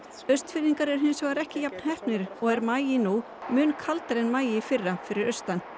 Austfirðingar er hins vegar ekki jafn heppnir og er maí nú mun kaldari en maí í fyrra fyrir austan